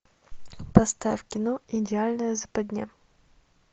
поставь кино идеальная западня